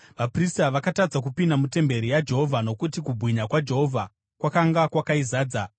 Vaprista vakatadza kupinda mutemberi yaJehovha nokuti kubwinya kwaJehovha kwakanga kwakaizadza.